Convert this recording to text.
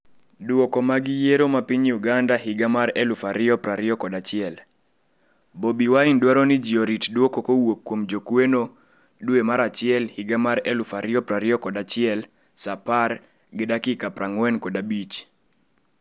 Duoko mag yiero ma piny Uganda higa mar 2021: Bobi Wine dwaro ni ji orit duoko kowuok kuom jokwano, saa 0,3015 dwe mar achiel higa mar 2021 saa 4:45